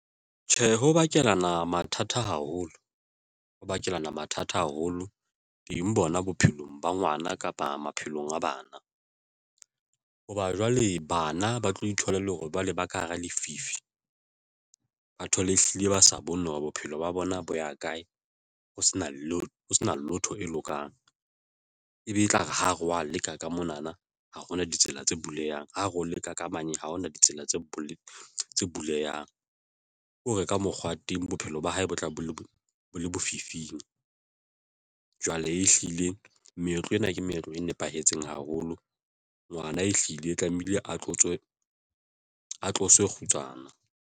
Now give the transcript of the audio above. Tjhe, ho bakela ona mathata haholo ho bakela mathata haholo teng bona bophelong ba ngwana kapa maphelong a bana, hoba jwale bana ba tlo itholela hore ba leba ka hara lefifi. Batho le ehlile ba sa bone hore bophelo ba bona bo ya kae. Ho sena la ho se na lotho e lokang, ebe e tla re, ha re wa leka ka mona na ha hona ditsela tse bulehang ho re ho leka ka manye ha hona ditsela tse bo le tse bulehang ho reka mokgwa teng. Bophelo ba hae bo tla bo le lefifing. Jwale ehlile meetlo ena, ke meetlo e nepahetseng haholo ngwana e hlile e tlamehile a tloswe kgutsana.